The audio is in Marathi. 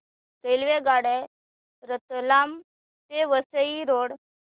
रेल्वेगाड्या रतलाम ते वसई रोड